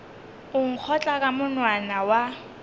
o nkgotla ka monwana wa